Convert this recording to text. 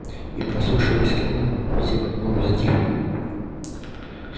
и прислушиваясь к нему все понемногу затихли